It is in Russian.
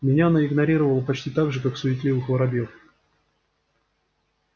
меня она игнорировала почти так же как суетливых воробьёв